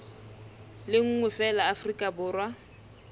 le nngwe feela afrika borwa